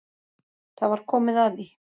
Það var komið að því.